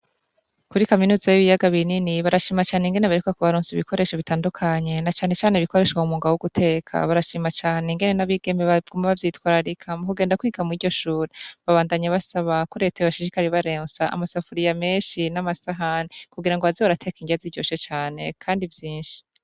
Kuri Kaminuza y'ibiyaga binini barashima cane ingene baheruka kubaronsa ibikoresho bitandukanye na cane cane ibikoreshwa mu mwuga w'uguteka, barashima ingene n'abigeme baguma bavyitwararika mu kugenda kwiga mw'iryo shure, babandanya basaba ko Leta yoshishikara ibaronse amasafuriya menshi n'amasahani kugira ngo baze barateka inrya ziryoshe cane kandi vyinshi.